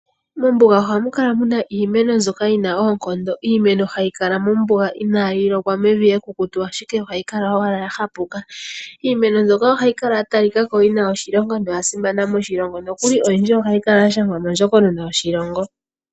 Mombuga ohamu kala muna iimeno mbyoka yina oonkondo. Iimeno hayi kala mombuga inaayi lokwa, mevi ekukutu, ashike ohayi kala owala ya hapuka. Iimeno mbyoka ohayi kala ya ya li kako ya simana noyina oshilonga, nokuli ohayi kala ya shangwa mondjokonona yoshilongo.